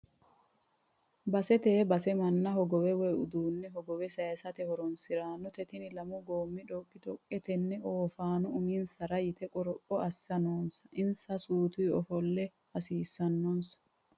Basete bass manna hogowe woyi uduune hogowe saysate horonsiranote tini lamu gomi dhoqi-dhoqe tene oofano ooffano uminsara yite qoropho assira noonsa insa sutu oofalla hasiisanonsa.